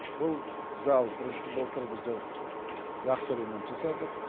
бұл зал былтыр біздер жақсы ремонт жасадық